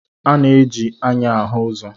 A na-eji anya ahụ ụzọ.